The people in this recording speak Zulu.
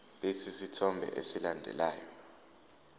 lesi sithombe esilandelayo